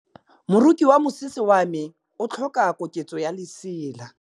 Moroki wa mosese wa me o tlhoka koketsô ya lesela.